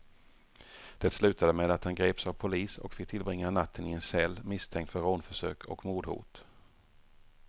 Det slutade med att han greps av polis och fick tillbringa natten i en cell, misstänkt för rånförsök och mordhot.